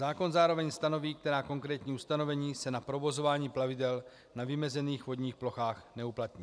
Zákon zároveň stanoví, která konkrétní ustanovení se na provozování plavidel na vymezených vodních plochách neuplatní.